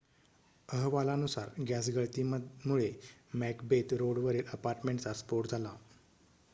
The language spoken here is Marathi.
अहवालानुसार गॅस गळतीमुळे मॅकबेथ रोडवरील अपार्टमेंटचा स्फोट झाला